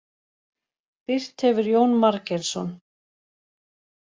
Birt hefur Jón Margeirsson.